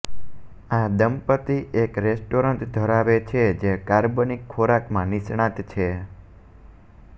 આ દંપતી એક રેસ્ટોરન્ટ ધરાવે છે જે કાર્બનિક ખોરાકમાં નિષ્ણાત છે